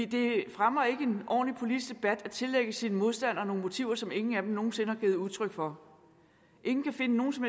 det fremmer ikke en ordentlig politisk debat at tillægge sine modstandere nogle motiver som ingen af dem nogen sinde har givet udtryk for ingen kan finde nogen som